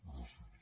gràcies